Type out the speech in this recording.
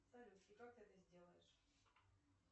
салют и как ты это сделаешь